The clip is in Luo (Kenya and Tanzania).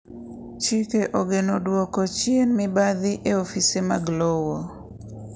chike ogeno duoko chien mibadhi e ofise mag lowo